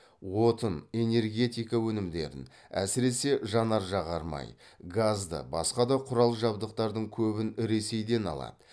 отын энергетика өнімдерін әсіресе жанар жағармай газды басқа да құрал жабдықтардың көбін ресейден алады